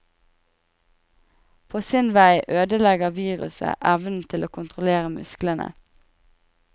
På sin vei ødelegger viruset evnen til å kontrollere musklene.